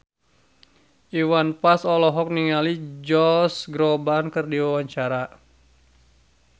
Iwan Fals olohok ningali Josh Groban keur diwawancara